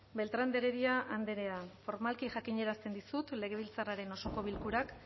beltrán de heredia andrea formalki jakinarazten dizut legebiltzarraren osoko bilkurak